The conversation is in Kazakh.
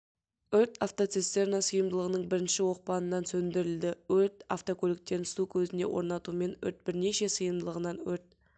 өрт автоцистерна сыйымдылығының бірінші оқпанынан сөндірілді өрт автокөліктерін су көзіне орнатумен өрт бірнеше сыйымдылығынан өрт